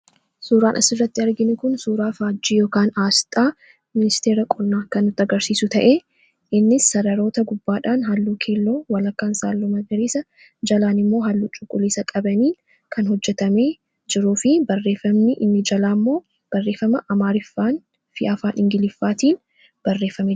suuraan as irratti argin kun suuraa fhaajii yookaan aasxaa ministeera qolnaa kan tagarsiisu ta'e innis sararoota gubbaadhaan halluu keelloo walakkaan saalluma iriisa jalaan immoo halluu cuqqulisa qabaniin kan hojjetame jiruu fi barreeffamni inni jalaa immoo barreefama amaariffaan fi afaan ingiliffaatiin barefame